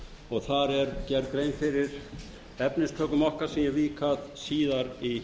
og þar er gerð grein fyrir efnistökum okkar sem ég vík að síðar í